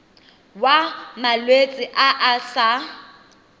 wa malwetse a a sa